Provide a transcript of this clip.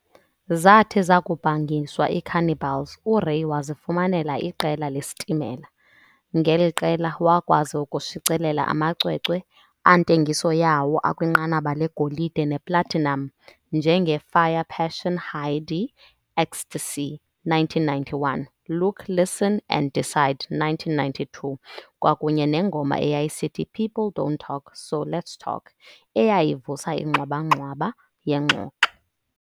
Zathi zakubhangiswa iiCannibals, uRay wazifumanela iqela leStimela, ngeli qela wakwazi ukushicilela amacwecwe antengiso yawo akwinqanaba legolide neplatinum njenge"fire, Passion hidey Ecstacy" , 1991, "Look, listen and decide", 1992, kwakunye nengoma eyayisithi "People Don't Talk So Let's Talk" eyayivusa ingxwaba-ngxwaba yengxoxo.